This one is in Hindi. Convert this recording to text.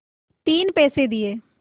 तीन पैसे दिए